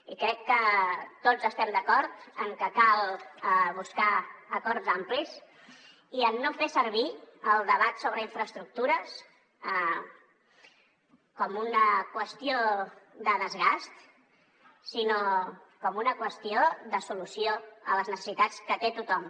i crec que tots estem d’acord amb que cal buscar acords amplis i amb no fer servir el debat sobre infraestructures com una qüestió de desgast sinó com una qüestió de solució a les necessitats que té tothom